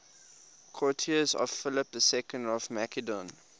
courtiers of philip ii of macedon